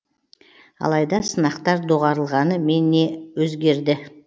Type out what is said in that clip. алайда сынақтар доғарылғаны мен не өзгерді